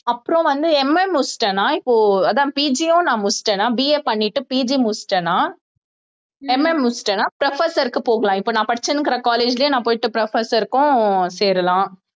அப்புறம் வந்து MA முடிச்சிட்டேன்னா இப்போ அதான் PG யும் நான் முடிச்சிட்டேன்னா BA பண்ணிட்டு PG முடிச்சிட்டேன்னா MA முடிச்சிட்டேன்னா professor க்கு போகலாம் இப்போ நான் படிச்சிட்டிருக்கிற college லேயே நான் போயிட்டு professor க்கும் சேரலாம்